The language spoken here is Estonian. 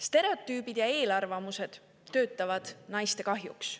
Stereotüübid ja eelarvamused töötavad naiste kahjuks.